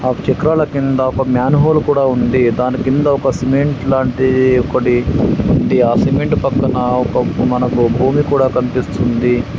ఆ చక్రాల కింద ఒక మ్యాన్హోల్ కూడా ఉంది. దాని కింద ఒక సిమెంట్ లాంటిది ఒకటి ఉంది. ఆ సిమెంటు పక్కన ఒక మనకు భూమి కూడా కనిపిస్తుంది.